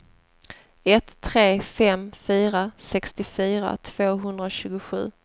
ett tre fem fyra sextiofyra tvåhundratjugosju